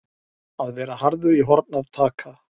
Að vera harður í horn að taka